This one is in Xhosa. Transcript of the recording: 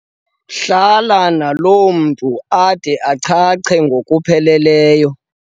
"Hlala nalo mntu ade achache ngokupheleleyo."